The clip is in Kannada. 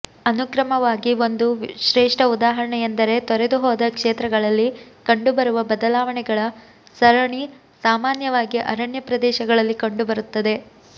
ಅನುಕ್ರಮವಾಗಿ ಒಂದು ಶ್ರೇಷ್ಠ ಉದಾಹರಣೆಯೆಂದರೆ ತೊರೆದುಹೋದ ಕ್ಷೇತ್ರಗಳಲ್ಲಿ ಕಂಡುಬರುವ ಬದಲಾವಣೆಗಳ ಸರಣಿ ಸಾಮಾನ್ಯವಾಗಿ ಅರಣ್ಯ ಪ್ರದೇಶಗಳಲ್ಲಿ ಕಂಡುಬರುತ್ತದೆ